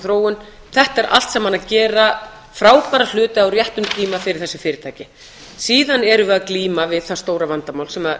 þróun þetta er allt saman að gera frábæra hluti á réttum tíma fyrir þessi fyrirtæki síðan erum við að glíma við það stóra vandamál sem